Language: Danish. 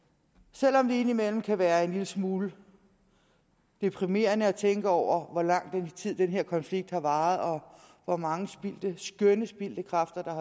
selv om det indimellem kan være en lille smule deprimerende at tænke over hvor lang tid den her konflikt har varet og hvor mange skønne kræfter der